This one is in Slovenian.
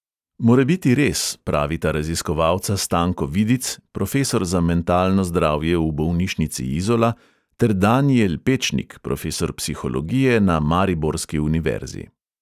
Morebiti res, pravita raziskovalca stanko vidic, profesor za mentalno zdravje v bolnišnici izola, ter danijel pečnik, profesor psihologije na mariborski univerzi